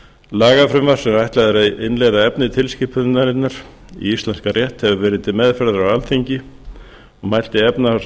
lagafrumvarp sem ætlað er að innleiða efni tilskipunarinnar í íslenskan rétt hefur verið til meðferðar á alþingi og mælti efnahags og